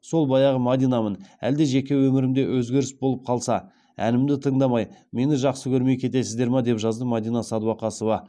сол баяғы мадинамын әлде жеке өмірімде өзгеріс болып қалса әнімді тыңдамаи мені жақсы көрмеи кетесіздер ма деп жазды мадина сәдуақасова